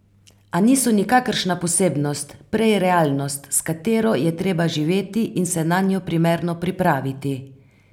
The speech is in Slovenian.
A niso nikakršna posebnost, prej realnost, s katero je treba živeti in se nanjo primerno pripraviti.